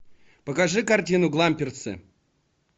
покажи картину гламперсы